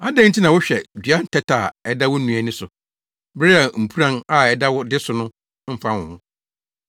“Adɛn nti na wohwɛ dua ntɛtɛ a ɛda wo nua ani so, bere a mpuran a ɛda wo de so no mfa wo ho?